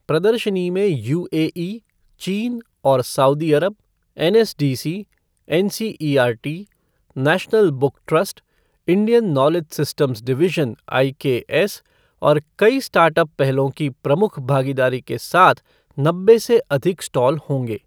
प्रदर्शनी में यूएई, चीन और Saudi Arab, NSDC, NCERT, national book trust, Indian knowledge systems division IKS और कई स्टार्ट अप पहलों की प्रमुख भागीदारी के साथ नब्बे से अधिक स्टॉल होंगे।